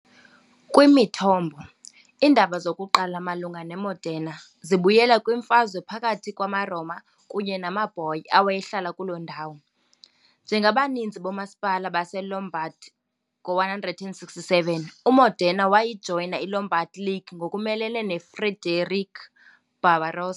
Kwimithombo, iindaba zokuqala malunga neModena zibuyela kwimfazwe phakathi kwamaRoma kunye namaBoii awayehlala kuloo ndawo. Njengabaninzi boomasipala baseLombard ngo-1167 uModena wajoyina iLombard League ngokumelene noFrederick Barbarossa .